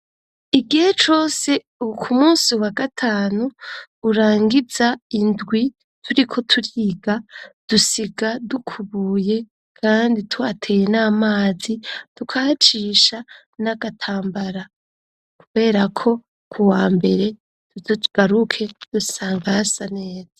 Igihe cose uku musi wa gatanu urangiza indwi turi ko turiga dusiga dukubuye, kandi twateye n'amazi dukacisha n'agatambara, kubera ko ku wa mbere tudugaruke dusangasane.